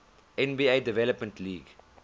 nba development league